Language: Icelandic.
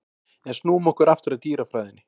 En snúum okkur aftur að dýrafræðinni.